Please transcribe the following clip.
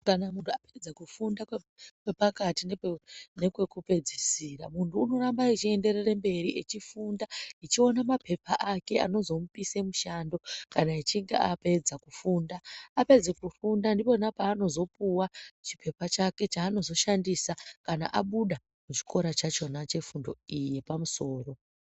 Kana mundu apedze kufunda kwepakati nekwekupedzisira mundu unorambe echiyenderera mberi echofunda echiona mapepa Ake anozomupise mushando kana echinge apedza kufunda apedza kufunda ndipona paanozopuwa chipepa chake chaanozoshandisa kana abuda kuchikora chachona chefundo iyi yepamusoro.